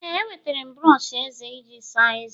ee, enwetara m brọsh eze eji asa ezé